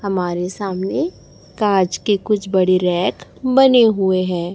हमारे सामने कांच के कुछ बड़ी रैक बने हुए हैं।